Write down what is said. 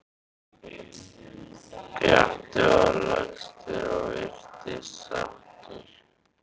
Pjatti var lagstur og virtist sáttur.